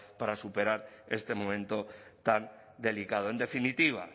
para superar este momento tan delicado en definitiva